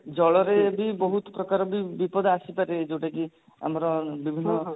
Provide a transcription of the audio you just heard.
ଜଳରେ ବି ବହୁତ ପ୍ରକାର ବି ବିପଦ ଆସିପାରେ ଯଉଟା କି ଆମର ବିଭିନ୍ନ